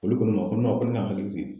Olu ko ne ma ko ne ka n hakili sigi.